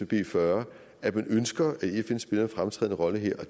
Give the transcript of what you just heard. b fyrre at man ønsker at fn spiller en fremtrædende rolle her